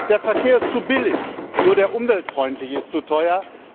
Der Verkehr ist zu billig, nur der umweltfreundliche ist zu teuer.